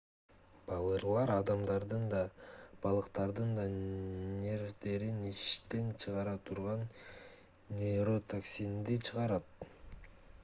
балырлар адамдардын да балыктардын да нервдерин иштен чыгара турган нейротоксинди чыгарат